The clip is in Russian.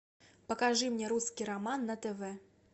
покажи мне русский роман на тв